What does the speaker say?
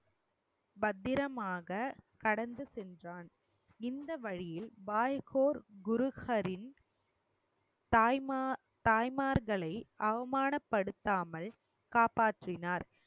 பத்திரமாக கடந்து சென்றான் இந்த வழியில் பாய் கோர் குரு ஹரின் தாய்மா~ தாய்மார்களை அவமானப் படுத்தாமல் காப்பாற்றினார்